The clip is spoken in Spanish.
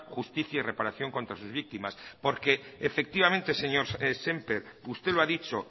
justicia y reparación contra sus víctimas efectivamente señor semper usted lo ha dicho